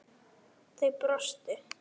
Þau brostu.